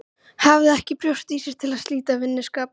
Hafði ekki brjóst í sér til að slíta vinskapnum.